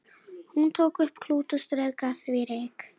Hann tók upp klút og strauk af því ryk.